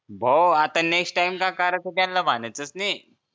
भो आता next time काय करायचं त्यांना म्हणायचं च नाही